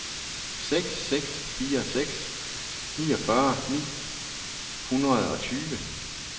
seks seks fire seks enogfyrre ni hundrede og tyve